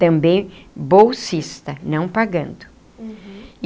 Também bolsista, não pagando.